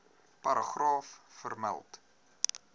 paragraaf vermeld